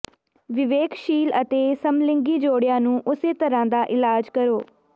ਵਿਵੇਕਸ਼ੀਲ ਅਤੇ ਸਮਲਿੰਗੀ ਜੋੜਿਆਂ ਨੂੰ ਉਸੇ ਤਰ੍ਹਾਂ ਦਾ ਇਲਾਜ ਕਰੋ